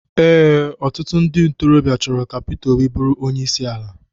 Ee, ọtụtụ ndị ntorobịa chọrọ ka Pita Óbị bụrụ onye isi ala.